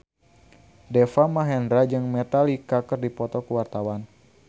Deva Mahendra jeung Metallica keur dipoto ku wartawan